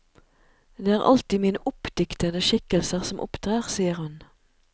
Det er alltid mine oppdiktede skikkelser som opptrer, sier hun.